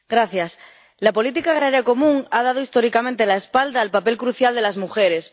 Señora presidenta, la política agraria común ha dado históricamente la espalda al papel crucial de las mujeres.